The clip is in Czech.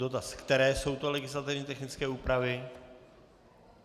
Dotaz: Které jsou to legislativně technické úpravy?